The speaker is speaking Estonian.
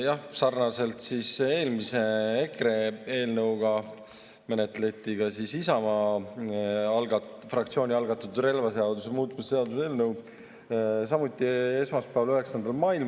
Jah, sarnaselt eelmise, EKRE eelnõuga menetleti Isamaa fraktsiooni algatatud relvaseaduse muutmise seaduse eelnõu samuti esmaspäeval, 9. mail.